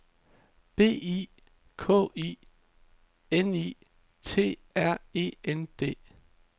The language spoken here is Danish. B I K I N I T R E N D